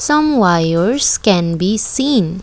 some wires can be seen.